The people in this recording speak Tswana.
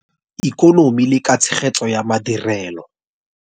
Ikonomi le ka tshegetso ya madirelo.